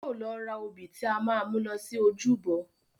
Yóò lọ ra òbí tí a máa mú lọ sí ojúbọ